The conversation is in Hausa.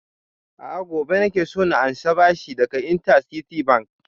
A'a gobe nake so na ansa bashi daga interciti bank